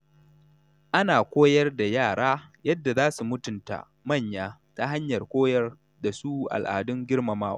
Ana koyar da yara yadda za su mutunta manya ta hanyar koyar da su al’adun girmamawa.